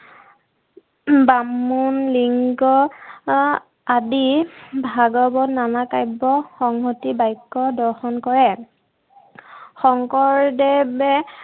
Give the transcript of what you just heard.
বামুন, লিংগ আদি ভাগৱত নানা কাব্য় সংহতি বাক্য় দৰ্শন কৰে। শংকৰদেৱে